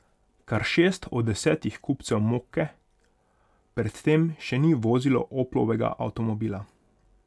Kar šest od desetih kupcev mokke pred tem še ni vozilo Oplovega avtomobila.